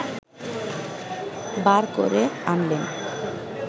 বার করে আনলেন!